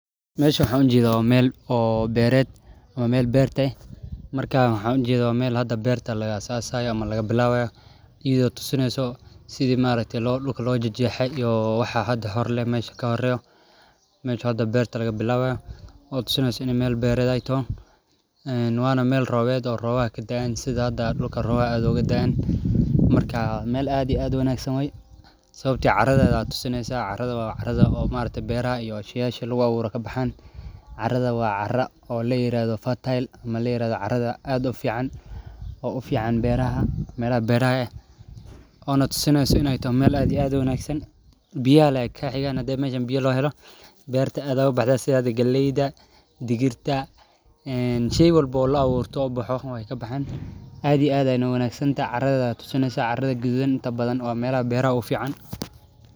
Meeshan waxaan ujeeda waa meel oo beered oo beerta ah oo beer laga bilabayo ayada oo tusineyso sida beerta loo fale waa meel roobka sait ooga dai haayo waa cara fican oo beeraha ufican oo tusineyso inaay tahay meel wanagsan sida galeyda iyo digirta aad iyo aad ayeey wanagsan tahay caradeeda.